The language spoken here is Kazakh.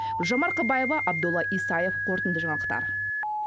гүлжан марқабаева абдолла исаев қорытынды жаңалықтар